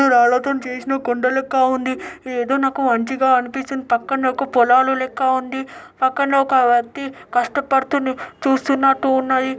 ఇది రాల్లతోని చేసినా కొండ లెక్క ఉంది ఏదో నాకు మంచిగా అనిపించిన పక్కనాకు పొలాలు లెక్క ఉంది అక్కడనే ఒక వ్యక్తి కష్టపడుతూనె చూస్తున్నట్టు ఉన్నాయి.